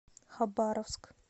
хабаровск